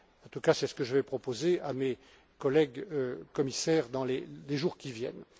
En tout cas, c'est ce que je vais proposer à mes collègues commissaires dans les jours qui viennent.